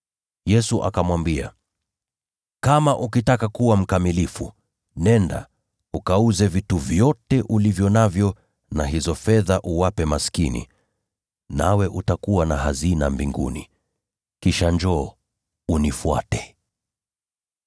Yesu akamwambia, “Kama ukitaka kuwa mkamilifu, nenda, ukauze vitu vyote ulivyo navyo, na hizo fedha uwape maskini, nawe utakuwa na hazina mbinguni. Kisha njoo, unifuate.”